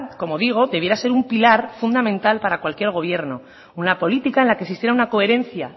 como digo debiera ser un pilar fundamental para cualquier gobierno una política en la que existiera una coherencia